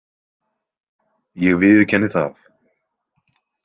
Ég viðurkenni það.